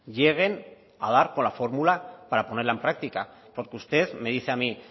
lleguen a dar con la fórmula para ponerla en práctica porque usted me dice a mí